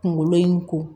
Kunkolo in ko